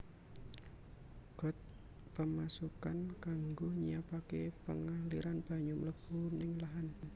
Got Pemasukan kanggo nyiapaké pengaliran banyu mlebu ning lahan